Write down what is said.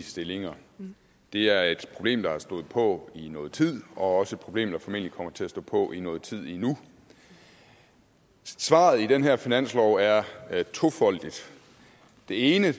stillinger det er et problem der har stået på i nogen tid og også et problem der formentlig kommer til at stå på i nogen tid endnu svaret i den her finanslov er tofoldigt det ene